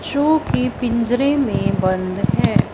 Show की पिंजरे मे बंद है।